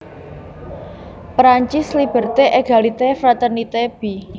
Perancis Liberté égalité fraternité b